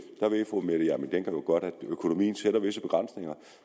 ved fru mette hjermind dencker jo godt at økonomien sætter visse begrænsninger